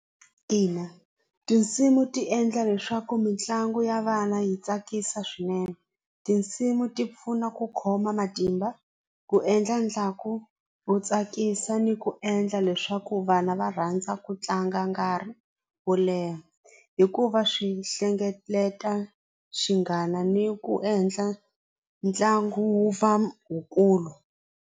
Ina tinsimu ti endla leswaku mitlangu ya vana yi tsakisa swinene tinsimu ti pfuna ku khoma matimba, ku endla wu tsakisa ni ku endla leswaku vana va rhandza ku tlanga nkarhi wo leha hikuva swi hlengeleta xinghana ni ku endla ntlangu wu wukulu.